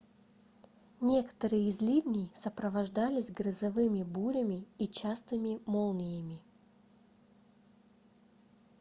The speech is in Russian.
некоторые из ливней сопровождались грозовыми бурями и частыми молниями